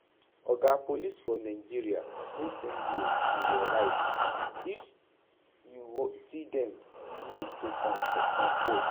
Oga police for Nigeria no send you and your right, when you see dem you need to comport